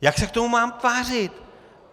Jak se k tomu mám tvářit?